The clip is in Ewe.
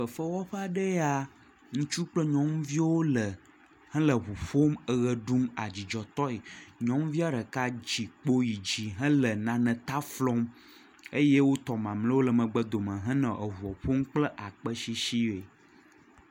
Fefewɔƒe aɖe ya ŋutsu kple nyɔnuviwo le hele ŋu ƒom eʋe ɖum adzidzɔ tɔe. Nyɔnuvia ɖeka tsikpo yi dzi hele naneta flɔm eye wotɔ mamleawo le megbe dome henɔ eŋua ƒom kple akpeshishie.